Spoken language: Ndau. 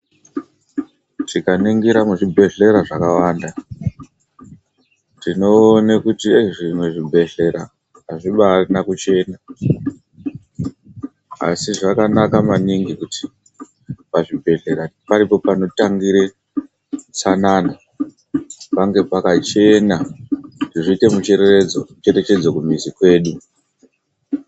Tikaningira muzvibhedhlera zvakawanda tinoone kuti zvimwe zvibhedhlera azvibaarina kuchena, asi zvakanaka maningi kuti pazvibhedhlera paripo panotangire utsanana pange pakachena zviite mucherechedzo kumizi kwedu.